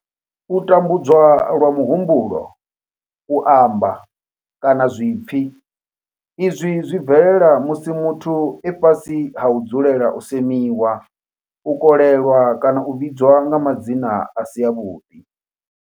U tambudzwa lwa muhumbulo, u amba, kana zwipfi izwi zwi bvelela musi muthu e fhasi ha u dzulela u semiwa, u kolelwa kana u vhidzwa nga madzina a si avhuḓi.